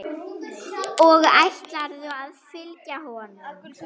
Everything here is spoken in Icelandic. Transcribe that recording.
Og ætlarðu að fylgja honum?